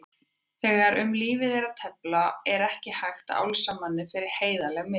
Þegar um lífið er að tefla er ekki hægt að álasa manni fyrir heiðarleg mistök.